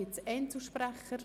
Gibt es Einzelsprecher?